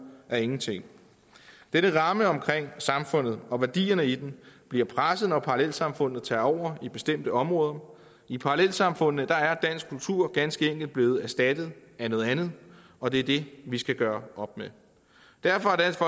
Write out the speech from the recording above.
af ingenting denne ramme omkring samfundet og værdierne i den bliver presset når parallelsamfundene tager over i bestemte områder i parallelsamfundene er dansk kultur ganske enkelt blevet erstattet af noget andet og det er det vi skal gøre op med derfor har dansk